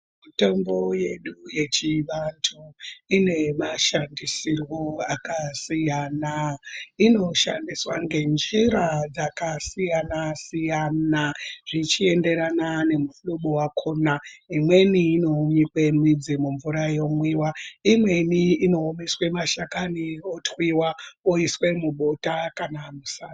Mitombo yedu yechivantu ine mashandisirwo akasiyana. Inoshandiswa ngenjira dzakasiyana siyana zvichiendera nemuhlobo wakona. Imweni inonyikwe midzi mumvura yomwiwa. Imweni inoiswe mashakani otwiwa oiswe mubota kana musadza.